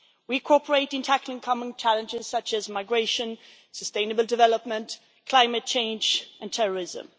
We cooperate in tackling common challenges such as migration, sustainable development, climate change and terrorism.